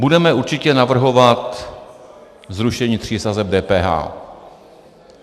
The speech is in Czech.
Budeme určitě navrhovat zrušení tří sazeb DPH.